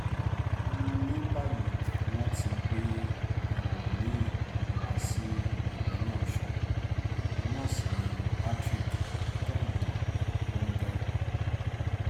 ní báyìí wọ́n ti gbé ẹlòmí-ín wá sípínlẹ̀ ọ̀ṣùn òun náà sí ní patrick kẹ́hìndé lọnge